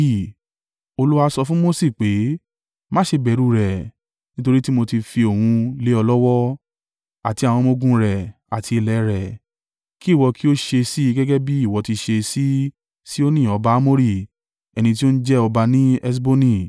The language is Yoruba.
Olúwa sọ fún Mose pé, “Má ṣe bẹ̀rù rẹ̀, nítorí tí mó tí fi òun lé ọ lọ́wọ́, àti àwọn ọmọ-ogun rẹ̀, àti ilẹ̀ rẹ̀, kí ìwọ kí ó ṣe sí i gẹ́gẹ́ bí ìwọ ti ṣe sí Sihoni ọba Amori ẹni tí ó ń jẹ ọba ní Heṣboni.”